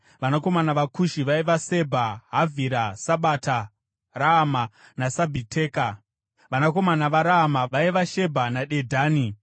Vanakomana vaKushi vaiva: Sebha, Havhira, Sabata, Raama naSabhiteka. Vanakomana vaRaama vaiva: Shebha naDedhani.